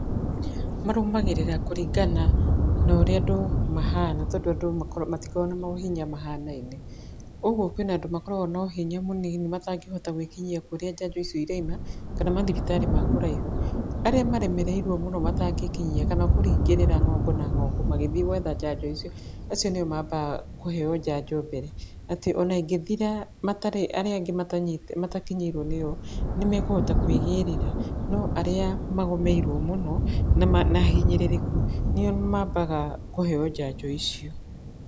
Marũmagĩrĩra kũringana norĩa andũ mahana tondũ andũ mako, matikoragwo na mohinya mahanaine. Ũgwo kwĩna andũ makoragwo nohinya mũnini matangĩhota gwĩkinyia kũrĩa njanjo icio iraima kana mathibitarĩ ma kũraihu. Arĩa maremereirwo mũno matangĩĩkinyia kana kũringĩrĩra ng'ongo na ng'ongo magĩthiĩ gwetha njanjo icio, acio nĩo mambaga kũheywo njanjo mbere. Atĩ ona ingĩthira matarĩ, arĩa angĩ matanyi, matakinyĩirwo nĩyo, nĩmekũhota kwĩgĩrĩra. No arĩa magũmĩirwo mũno nĩma, na ahinyĩrĩrĩku nĩo mambaga kũheywo njanjo icio.